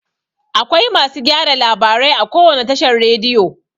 Akwai masu gyara labarai a kowane tashar rediyo.